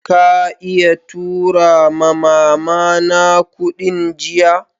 Ka iya tura ma'mama na kudin jiya?